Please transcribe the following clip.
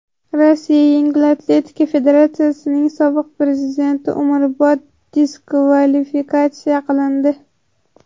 Rossiya yengil atletika federatsiyasining sobiq prezidenti umrbod diskvalifikatsiya qilindi.